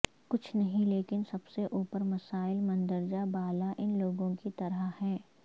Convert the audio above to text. کچھ نہیں لیکن سب سے اوپر مسائل مندرجہ بالا ان لوگوں کی طرح ہیں